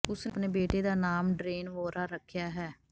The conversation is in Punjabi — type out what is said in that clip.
ਉਸਨੇ ਆਪਣੇ ਬੇਟੇ ਦਾ ਨਾਮ ਡਰੇਨ ਵੋਹਰਾ ਰੱਖਿਆ ਹੈ